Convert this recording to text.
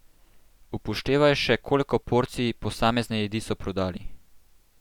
Upoštevaj še koliko porcij posamezne jedi so prodali.